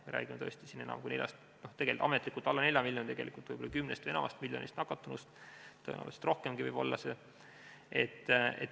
Me räägime tõesti ametlikult alla 4 miljonist nakatunust, tegelikult on võib-olla 10 miljonit või enam nakatunut, tõenäoliselt võib neid rohkemgi olla.